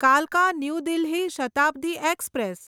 કાલકા new Delhi Shatabdi express